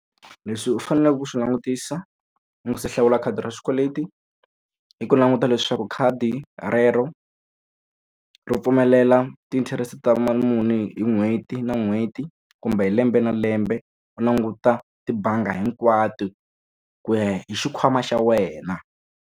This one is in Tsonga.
Leswi u faneleke ku swi langutisa u nga se hlawula khadi ra xikweleti, i ku languta leswaku khadi rero ri pfumelela ti-interest ta muni hi n'hweti na n'hweti kumbe hi lembe na lembe. U languta tibangi hinkwato ku ya hi xikhwama xa wena.